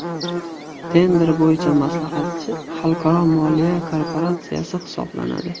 Tender bo‘yicha maslahatchi Xalqaro moliya korporatsiyasi hisoblanadi.